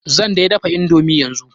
Zan dai dafa indomi yanzu.